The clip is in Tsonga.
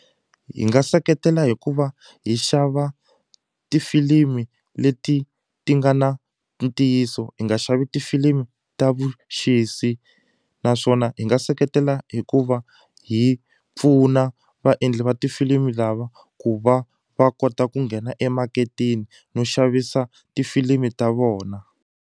Hi nga seketela hikuva hi xava tifilimi leti ti nga na ntiyiso hi nga xavi tifilimu ta vuxisi naswona hi nga seketela hi ku va hi pfuna vaendli va tifilimi lava ku va va kota ku nghena emaketeni no xavisa tifilimi ta vona.